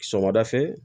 Sɔgɔmada fɛ